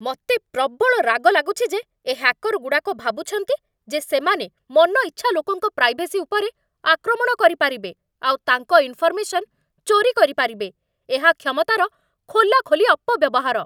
ମତେ ପ୍ରବଳ ରାଗ ଲାଗୁଛି ଯେ ଏ ହ୍ୟାକରଗୁଡ଼ାକ ଭାବୁଛନ୍ତି ଯେ ସେମାନେ ମନଇଚ୍ଛା ଲୋକଙ୍କ ପ୍ରାଇଭେସି ଉପରେ ଆକ୍ରମଣ କରିପାରିବେ ଆଉ ତାଙ୍କ ଇନଫରମେସନ୍ ଚୋରି କରିପାରିବେ । ଏହା କ୍ଷମତାର ଖୋଲାଖୋଲି ଅପବ୍ୟବହାର।